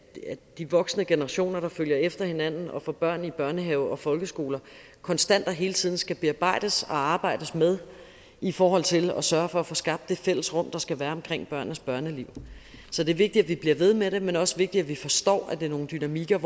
de voksne generationer der følger efter hinanden og får børn i børnehaver og folkeskoler konstant og hele tiden skal bearbejdes og arbejdes med i forhold til at sørge for at få skabt det fælles rum der skal være omkring børnenes børneliv så det er vigtigt at vi bliver ved med det men også vigtigt at vi forstår at det er nogle dynamikker